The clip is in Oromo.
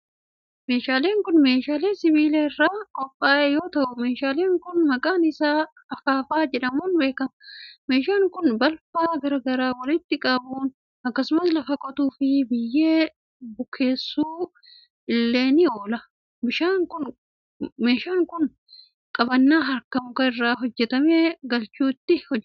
Meeshaan kun, meeshaa sibiila irraa qophaa'e yoo ta'u, meeshaan kun maqaan isaa akaafaa jedhamuun beekama. Meeshaan kun, balfa garaa garaa walitti qabuuf akkasumas lafa qotuu fi biyyee bukeessuuf illee ni oola. Meeshaan kun, qabannaa harkaa muka irraa hojjatametti galchuun ittiin hojjatama.